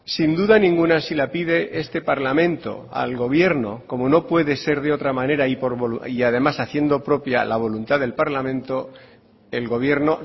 sin duda ninguna si la pide este parlamento al gobierno como no puede ser de otra manera y además haciendo propia la voluntad del parlamento el gobierno